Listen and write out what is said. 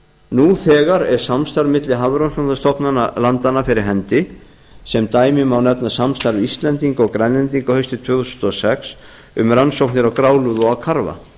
nú þegar er samstarf milli hafrannsóknastofnana landanna fyrir hendi sem dæmi má nefna samstarf íslendinga og grænlendinga haustið tvö þúsund og sex um rannsóknir á grálúðu og karfa